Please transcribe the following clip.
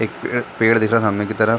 एक पेड़ पेड़ दिख रहा सामने की तरफ --